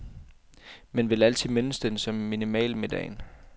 Men vil altid mindes den som minimalmiddagen.